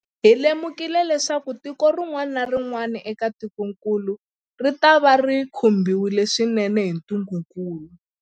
Hi lemukile leswaku tiko rin'wana na rin'wana eka tikokulu ritava ri khumbiwile swinene hi ntungukulu.